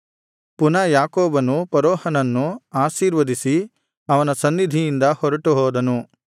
ಪುನಃ ಯಾಕೋಬನು ಫರೋಹನನ್ನು ಆಶೀರ್ವದಿಸಿ ಅವನ ಸನ್ನಿಧಿಯಿಂದ ಹೊರಟುಹೋದನು